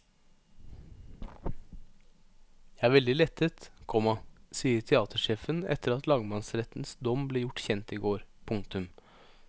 Jeg er veldig lettet, komma sier teatersjefen etter at lagmannsrettens dom ble gjort kjent i går. punktum